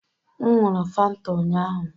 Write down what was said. M ṅụụrụ Fanta ụnyahụ.